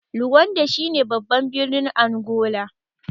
Luanda shi babban birnin Angola.